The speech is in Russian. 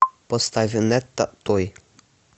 поставь нэтта той